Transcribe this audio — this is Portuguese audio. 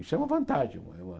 Isso é uma vantagem. É uma é uma